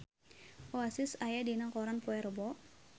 Oasis aya dina koran poe Rebo